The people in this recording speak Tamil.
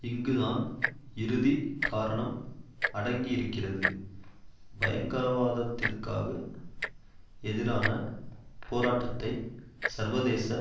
இங்குதான் இறுதி காரணம் அடங்கியிருக்கிறது பயங்கரவாதத்திற்காக எதிரான போராட்டத்தை சர்வதேச